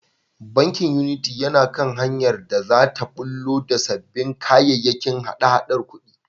Bankin Unity yana kan hanyar da za ta ɓullo da sabbin kayayyakin hada-hadar kuɗi.